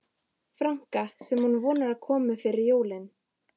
franka sem hún vonar að komi fyrir jólin.